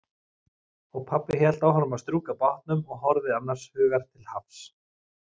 Og pabbi hélt áfram að strjúka bátnum og horfði annars hugar til hafs.